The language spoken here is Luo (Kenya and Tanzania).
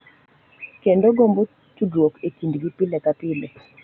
Kendo gombo tudruok e kindgi pile ka pile.